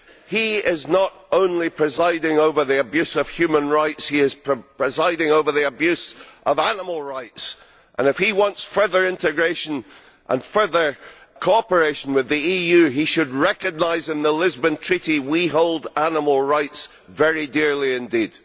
He is not only presiding over the abuse of human rights, he is presiding over the abuse of animal rights, and if he wants further integration and further cooperation with the EU he should recognise that in the Lisbon Treaty we hold animal rights very dear indeed.